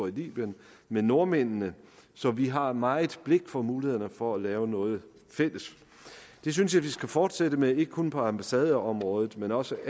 libyen med nordmændene så vi har meget blik for mulighederne for at lave noget fælles det synes jeg vi skal fortsætte med ikke kun på ambassadeområdet men også